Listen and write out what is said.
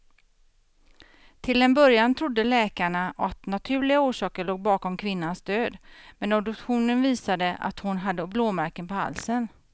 Till en början trodde läkarna att naturliga orsaker låg bakom kvinnans död, men obduktionen visade att hon hade blåmärken på halsen.